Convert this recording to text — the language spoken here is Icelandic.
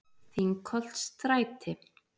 Þingholtsstræti